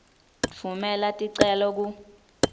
tfumela ticelo ku